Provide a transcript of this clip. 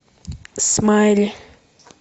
смайли